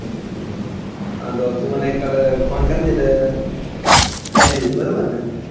હા તો તું મને કાલે ફોન કરજે એટલે આઈ જાજે બરોબર ને,